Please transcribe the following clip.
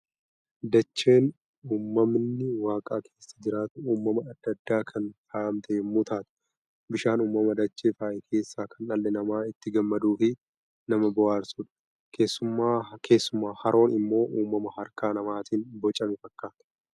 Dacheen uumamni waaqaa keessa jiraatu uumana adda addaan kan faayamte yommuu taatu, bishaan uumama dachee faaye keessaa kan dhalli namaa itti gammaduu fi nama bohaarsudha. Keessumaa haroon immoo uumama harka namaatiin bocame fakkaata.